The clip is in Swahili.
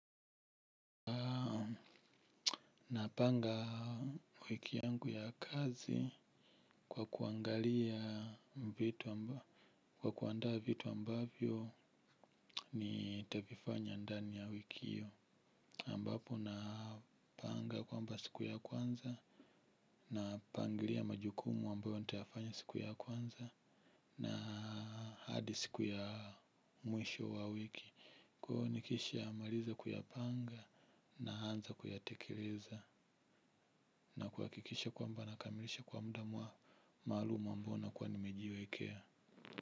Napanga wiki yangu ya kazi kwa kuangalia vitu amba kwa kuandaa vitu ambavyo nitavifanya ndani ya wiki iyo ambapo napanga kwamba siku ya kwanza napangalia majukumu ambayo nitafanya siku ya kwanza. Na hadi siku ya mwisho wa wiki kwa nikishamaliza kuyapanga naanza kuyatekeleza. Na kuakikisha kwamba nakamilisha kwa muda mwa maaluma ambao nakua nimejiwekea.